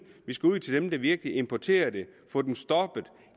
vi skal ud til dem der virkelig importerer det få dem stoppet